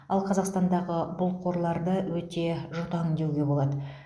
ал қазақстандағы бұл қорларды өте жұтаң деуге болады